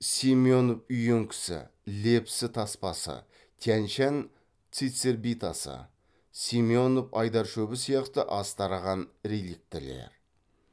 семенов үйеңкісі лепсі таспасы тянь шань цицербитасы семенов айдаршөбі сияқты аз тараған реликтілер